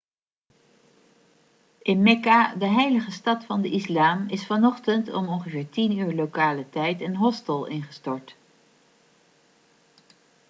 in mekka de heilige stad van de islam is vanochtend om ongeveer 10.00 uur lokale tijd een hostel ingestort